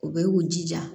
U bɛ u jija